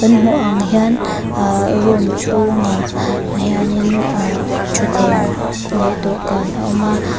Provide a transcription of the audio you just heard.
i hmuh ang hian ahh room chhungah hianin ahh thutthleng leh dawhkan a awm a.